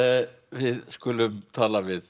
við skulum tala við